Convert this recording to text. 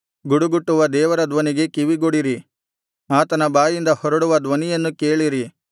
ಗುಡುಗುಟ್ಟುವ ದೇವರ ಧ್ವನಿಗೆ ಕಿವಿಗೊಡಿರಿ ಆತನ ಬಾಯಿಂದ ಹೊರಡುವ ಧ್ವನಿಯನ್ನು ಕೇಳಿರಿ